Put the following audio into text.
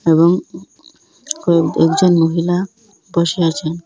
এবং কয়েক একজন মহিলা বসে আছে।